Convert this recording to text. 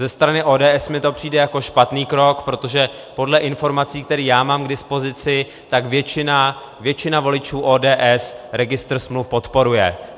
Ze strany ODS mi to přijde jako špatný krok, protože podle informací, které já mám k dispozici, tak většina voličů ODS registr smluv podporuje.